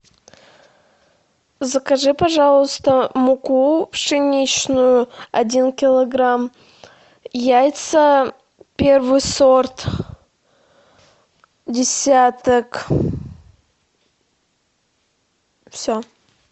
закажи пожалуйста муку пшеничную один килограмм яйца первый сорт десяток все